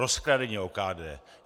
Rozkradení OKD.